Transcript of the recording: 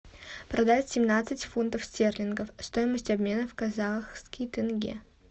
продать семнадцать фунтов стерлингов стоимость обмена в казахский тенге